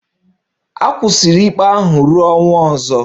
A kwụsịrị ikpe ahụ ruo ọnwa ọzọ